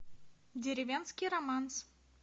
деревенский романс